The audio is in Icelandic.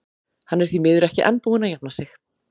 Hann er því miður ekki enn búinn að jafna sig.